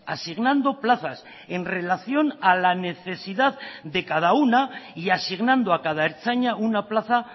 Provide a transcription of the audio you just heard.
asignando plazas en relación a la necesidad de cada una y asignando a cada ertzaina una plaza